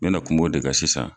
N mɛ na kum'o de ka sisan.